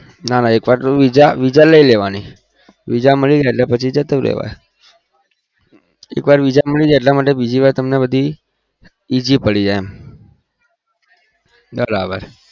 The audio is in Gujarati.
નાં નાં વીજા મળી જાય પછી જતું રેવાનું એક વાર વીજા મળી જાય પછી easy પડી જાય